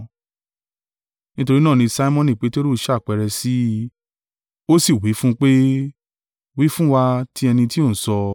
Nítorí náà ni Simoni Peteru ṣàpẹẹrẹ sí i, ó sì wí fún un pé, “Wí fún wa ti ẹni tí o ń sọ.”